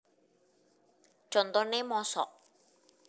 Contone Mosok